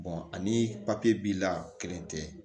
ani b'i la kelen tɛ